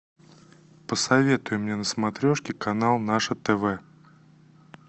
посоветуй мне на смотрешке канал наше тв